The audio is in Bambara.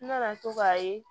N nana to k'a ye